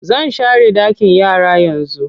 Zan share ɗakin yara yanzu.